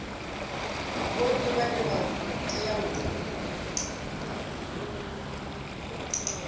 vhonnyi vhane vha teau u